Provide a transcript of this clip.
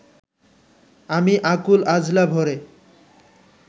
আমি আকুল আঁজলা ভ’রে